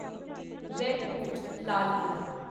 red fort Lal Qila